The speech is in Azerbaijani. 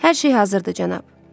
Hər şey hazırdır, cənab.